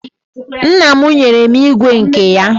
Nna m nwere ígwè nke ya.